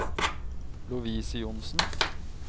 Lovise Johnsen